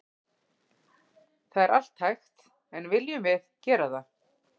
Það er allt hægt en viljum við gera það?